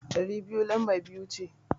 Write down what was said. Ɗari uku lamba biyuwa ce.